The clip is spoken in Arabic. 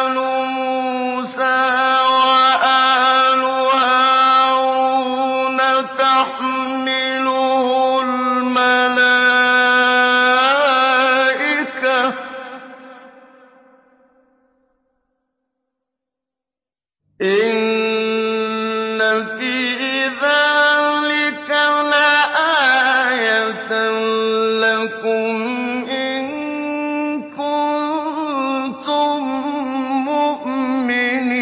آلُ مُوسَىٰ وَآلُ هَارُونَ تَحْمِلُهُ الْمَلَائِكَةُ ۚ إِنَّ فِي ذَٰلِكَ لَآيَةً لَّكُمْ إِن كُنتُم مُّؤْمِنِينَ